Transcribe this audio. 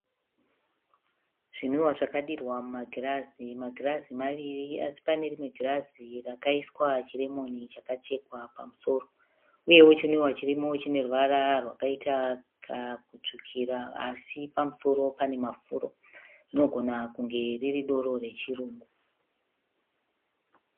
Zvinwiwa zvakadirwa mumagirazi. Magirazi maviri asi pane rimwe girazi rakaiswa chiremoni chakachekwa pamusoro uyewo chinwiwa chirimo chine ruvara rwakaita kakutsvukira asi pamusoro pane mafuro. Rinogona kunge riri doro rechirungu.